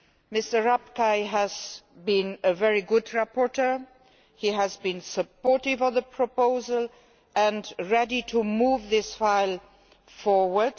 Mr Rapkay has been a very good rapporteur, he has been supportive of the proposal and ready to move this file forward.